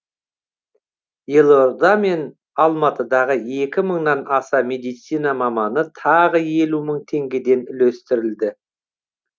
елорда мен алматыдағы екі мыңнан аса медицина маманына тағы елу мың теңгеден үлестірілді